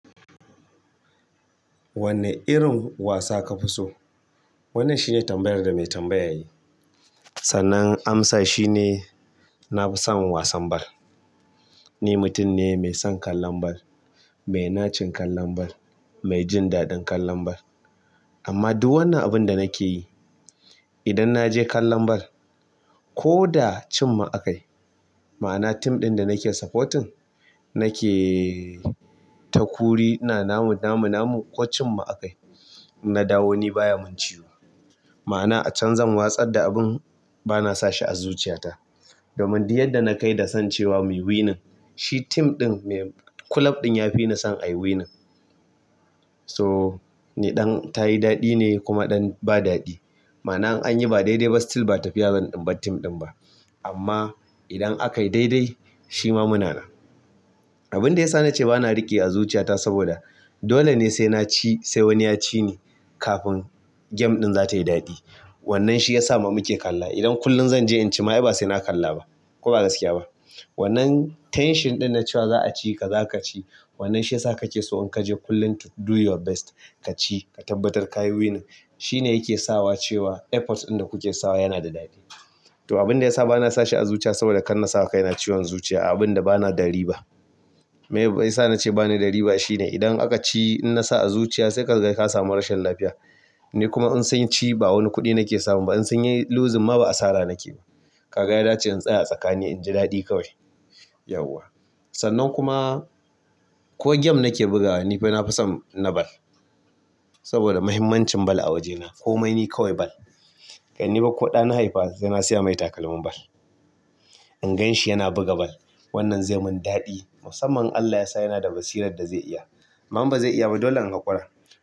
Wanne irin wasa ka fi so? Wannan shine tambayar da mai tambaya yayi. Sannan amsa shine nafi son wasan bal. Ni mutum ne mai son kallon bal, mai nacin kallon bal, mai jin daɗin kallon bal. Amma duk wannan abin da nake yi, idan naje kallon bal ko da cin mu akayi, ma'ana tim ɗin da nake supporting nake takuri ina namu, namu, namu ko cin mu akayi, na dawo ni baya mun ciwo. Ma'ana a can zan watsar da abin bana sa shi a zuciyata. Domin duk yadda nakai da son cewa muyi winning, shi team ɗin mai club ɗin ya fini son cewa ayi winning. So ni ɗan tayi daɗi ne kuma ba daɗi. Ma'ana in anyi ba daidai ba still ba tafiya zan in bar tim ɗin ba. Amma idan akayi daidai shima muna nan. Abin da ya sa nace bana riƙe a zuciyata saboda dole ne sai naci sai wani ya cini kafin game ɗin zatayi daɗi. Wannan shi yasa ma muke kalla. Idan kullum zanje in ci ma ai ba sai na kalla ba ko ba gaskiya ba. Wannan tension ɗin na cewa za a ci ka za ka ci, wannan shi yasa kake so in kaje kullum to do your best kaci ka tabbatar kayi winning. Shine yake sawa cewa effort ɗin da kuke sawa yana da daɗi. To abin da yasa bana sa shi a zuciya saboda kan nasawa kaina ciwon zuciya a abun da bana da riba. Miyasa nace bani da riba shine idan aka ci inna sa a zuciya sai ka ga ka samu rashin lafiya. Ni kuma in sun ci ba wani kuɗi nake samun ba, in sun yi losing ma ba asara nake ba. Ka ga ya dace in tsaya a tsakani inji daɗi kawai. Yauwa. Sannan kuma ko game nake bugawa ni fa nafi son na bal. Saboda muhimmancin bal a wajena. Komai ni kawai bal. Kai ni ba ko ɗa na haifa sai na siya mai takalmin bal. In gan shi yana buga bal wannan zai mun daɗi. Musamman in Allah yasa yana da basirar da zai iya. Amma in ba zai iya ba dole in haƙura.